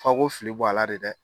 Fo aw ko fili bɔ a la le dɛ.